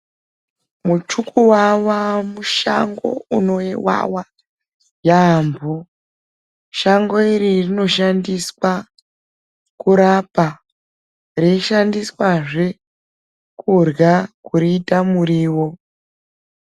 Michukuvava mushango unovava yaampho. Shango iri rinoshandiswa kurapa, reishandiswazve kurya, kuriita muriwo.